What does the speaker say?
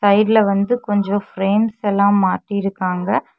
சைட்ல வந்து கொஞ்ச பிரேம்ஸ் எல்லாம் மாட்டிருகாங்க.